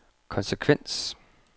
konsekvens